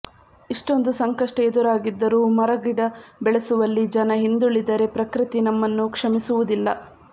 ಇಷ್ಟೊಂದು ಸಂಕಷ್ಟ ಎದುರಾಗಿದ್ದರೂ ಮರಗಿಡ ಬೆಳೆಸುವಲ್ಲಿ ಜನ ಹಿಂದುಳಿದರೆ ಪ್ರಕೃತಿ ನಮ್ಮನ್ನು ಕ್ಷಮಿಸುವುದಿಲ್ಲ